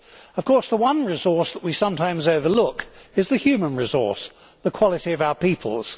Of course the one resource that we sometimes overlook is the human resource, the quality of our peoples.